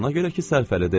Ona görə ki, sərfəlidir.